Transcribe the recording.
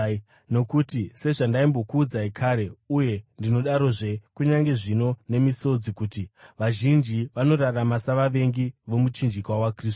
Nokuti, sezvandaimbokuudzai kare uye ndinodarozve kunyange zvino nemisodzi kuti, vazhinji vanorarama savavengi vomuchinjikwa waKristu.